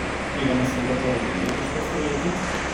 Tega nasveta torej ne bo težko sprejeti?